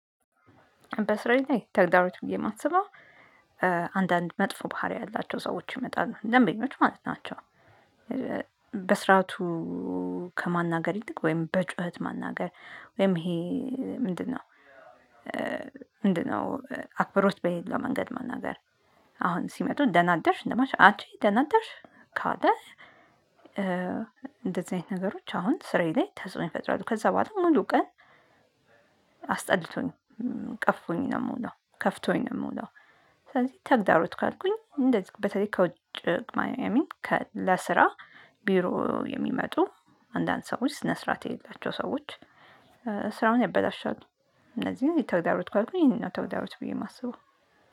በስራዬ ተግዳሮት ብዬ ማስበው አንዳንድ መጥፎ ባህሪ ያላቸው ሰዎች ይመጣሉ ደንበኞች ማለት ናቸው። በስርዓቱ ከማናገር ይልቅ ወይም በጩኸት ማናገር። ወይም ይሄ ምንድን ነው? ምንድን ነው? አክብሮት በሌለው መንገድ ማናገር። አሁን ሲመጡ ደና አደርሽ እንደማች አቺ ደና አደርሽ። ካለ እንደዚህ አይነት ነገሮች አሁን ስራዬ ላይ ተጽዕኖ ይፈጥራሉ ከዛ በኋላ ሙሉ ቀን። አስጠልቶኝ ቀፍፎኝ ነው ምውለው ከፍቶኝ ነው ምውለው። ስለዚህ ተግዳሮት ካልኩኝ እንደዚህ በተለይ ከውጭ ማያ አይሚን ለስራ ቢሮ የሚመጡ አንዳንድ ሰዎች ስነ ስርዓት የሌላቸው ሰዎች። ስራውን ያበላሻሉ። እነዚህ ላይ ተግዳሮት ካልኩኝ ነው ተግዳሮት ብዬ የማስበው